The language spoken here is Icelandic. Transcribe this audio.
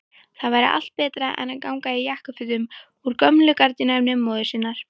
Það væri allt betra en að ganga í jakkafötum úr gömlu gardínuefni móður sinnar!